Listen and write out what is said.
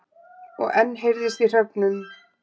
Og enn heyrðist í hröfnunum.